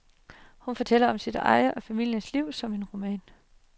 Hun fortæller om sit eget og familiens liv som en roman.